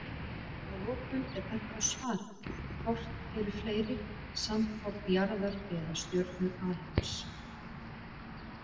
Að lokum er bent á svarið Hvort eru fleiri, sandkorn jarðar eða stjörnur alheims?